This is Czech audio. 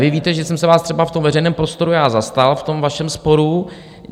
Vy víte, že jsem se vás třeba v tom veřejném prostoru já zastal v tom vašem sporu.